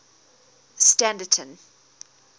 standerton